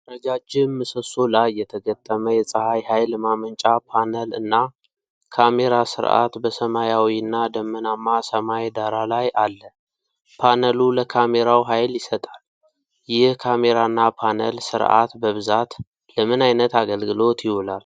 ረጃጅም ምሰሶ ላይ የተገጠመ የፀሐይ ኃይል ማመንጫ ፓነል እና ካሜራ ስርዓት በሰማያዊና ደመናማ ሰማይ ዳራ ላይ አለ። ፓነሉ ለካሜራው ኃይል ይሰጣል። ይህ ካሜራና ፓነል ስርዓት በብዛት ለምን ዓይነት አገልግሎት ይውላል?